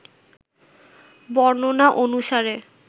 বর্ণনা অনুসারে